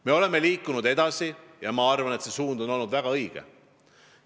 Me oleme liikunud edasi ja ma arvan, et suund on olnud väga õige.